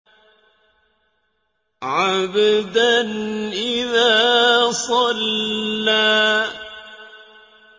عَبْدًا إِذَا صَلَّىٰ